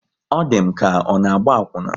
Ọ di m ka ọ na-agba akwuna